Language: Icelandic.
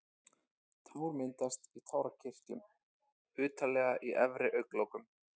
Tár myndast í tárakirtlum utarlega í efri augnlokunum.